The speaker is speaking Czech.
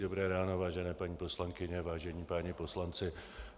Dobré ráno, vážené paní poslankyně, vážení páni poslanci.